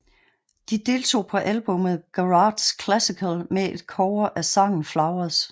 De deltog på albummet Garage Classical med et cover af sangen Flowers